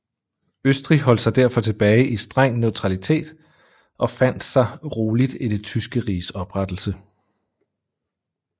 Østrig holdt sig derfor tilbage i streng neutralitet og fandt sig roligt i Det Tyske Riges oprettelse